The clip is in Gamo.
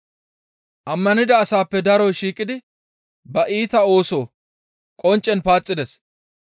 Ammanida asaappe daroy shiiqidi ba iita ooso qonccen paaxides.